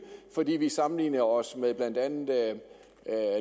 fordi vi sammenligner os med blandt andet